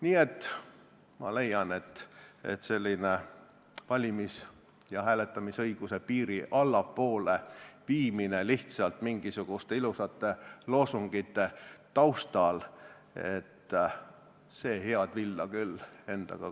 Nii et ma leian, et selline valimis- ja hääletamisõiguse piiri allapoole viimine lihtsalt mingisuguste ilusate loosungite taustal head villa küll ei anna.